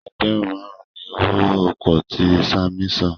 ẹgbẹrun márùn ní owó oko tí Sanmi sàn.